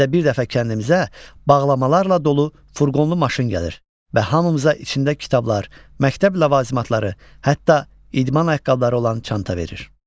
İldə bir dəfə kəndimizə bağlamalarla dolu furqonlu maşın gəlir və hamımıza içində kitablar, məktəb ləvazimatları, hətta idman ayaqqabıları olan çanta verir.